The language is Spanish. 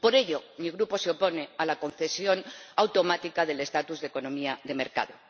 Por ello, mi Grupo se opone a la concesión automática del estatuto de economía de mercado.